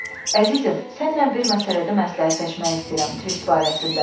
"Əzizim, səninlə bir məsələdə məsləhətləşmək istəyirəm, Tvist barəsində."